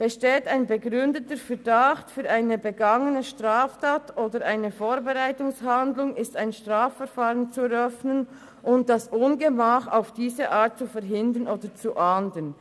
Besteht ein begründeter Verdacht für eine begangene Straftat oder eine Vorbereitungshandlung, ist ein Strafverfahren zu eröffnen und das Ungemach auf diese Art zu verhindern oder zu ahnden.